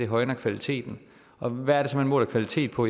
højner kvaliteten og hvad er det så man måler kvalitet på